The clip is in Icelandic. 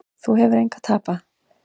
Þú hefur engu að tapa.